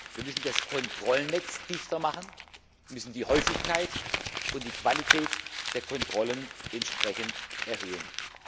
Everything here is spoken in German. Wir müssen das Kontrollnetz dichter machen, wir müssen die Häufigkeit und die Qualität der Kontrollen entsprechend erhöhen.